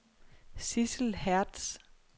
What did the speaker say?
Sidsel Hertz